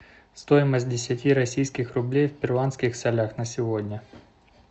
стоимость десяти российских рублей в перуанских солях на сегодня